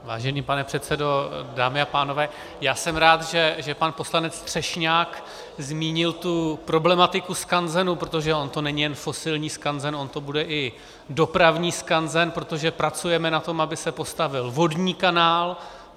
Vážený pane předsedo, dámy a pánové, já jsem rád, že pan poslanec Třešňák zmínil tu problematiku skanzenů, protože on to není jen fosilní skanzen, on to bude i dopravní skanzen, protože pracujeme na tom, aby se postavil vodní kanál.